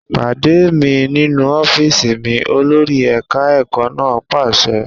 Pàdé mi nínú ọ́fíìsì mi! Olórí ẹ̀ka ẹ̀kọ́ náà pàṣẹ.